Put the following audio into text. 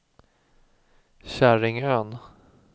Käringön